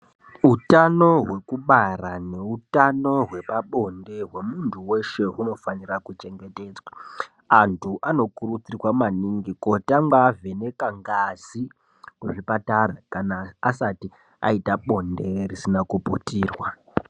Utano hwekubara neutano hwepabonde hwemuntu weshe hunofanira kuchengetedzwa. Antu anokurudzirwa maningi kotanga avheneka ngazi kuzvipatara kana asati aita bonde risina kuputirwa.